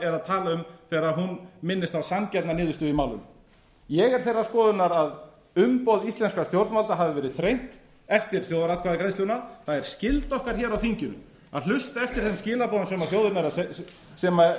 að tala um þegar hún minnist á sanngjarna niðurstöðu í málinu ég er þeirrar skoðunar að umboð íslenskra stjórnvalda hafi verið þrengt eftir þjóðaratkvæðagreiðsluna það er skylda okkar hér á þinginu að hlusta eftir þeim skilaboðum sem þjóðin er